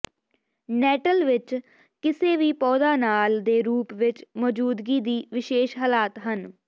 nettle ਵਿੱਚ ਕਿਸੇ ਵੀ ਪੌਦਾ ਨਾਲ ਦੇ ਰੂਪ ਵਿੱਚ ਮੌਜੂਦਗੀ ਦੀ ਵਿਸ਼ੇਸ਼ ਹਾਲਾਤ ਹਨ